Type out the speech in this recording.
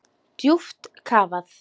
Djúpt kafað.